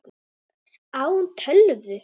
Á hún tölvu?